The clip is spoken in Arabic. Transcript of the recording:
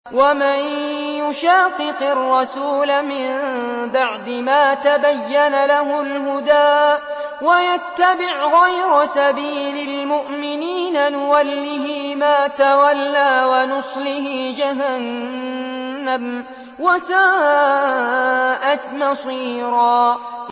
وَمَن يُشَاقِقِ الرَّسُولَ مِن بَعْدِ مَا تَبَيَّنَ لَهُ الْهُدَىٰ وَيَتَّبِعْ غَيْرَ سَبِيلِ الْمُؤْمِنِينَ نُوَلِّهِ مَا تَوَلَّىٰ وَنُصْلِهِ جَهَنَّمَ ۖ وَسَاءَتْ مَصِيرًا